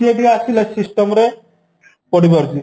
ସିଏ ଏଠିକି ଆସିଲା system ରେ ପଢି ପାରୁଛି